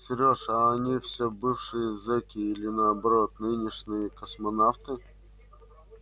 серёж а они все бывшие зеки или наоборот нынешние космонавты